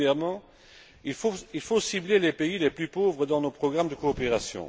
Premièrement, il faut cibler les pays les plus pauvres dans nos programmes de coopération.